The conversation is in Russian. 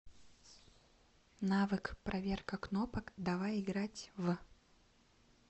навык проверка кнопок давай играть в